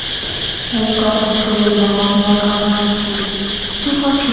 এইতো Arbi, আমিও ভালো আছি. কি করছো